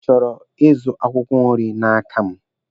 Ị chọrọ ịzụ akwụkwọ nri n'aka m?